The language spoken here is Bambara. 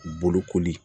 Bolokoli